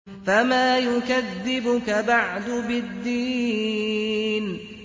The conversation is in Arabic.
فَمَا يُكَذِّبُكَ بَعْدُ بِالدِّينِ